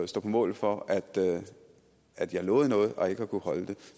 stå på mål for at jeg lovede noget og ikke har kunnet holde det